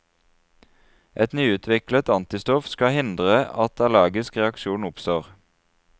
Et nyutviklet antistoff skal hindre at allergisk reaksjon oppstår.